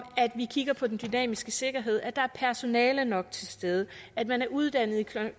at vi kigger på den dynamiske sikkerhed at der er personale nok til stede at man er uddannet i